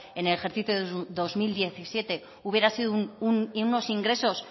en el ejercicio de dos mil diecisiete hubiera sido unos ingresos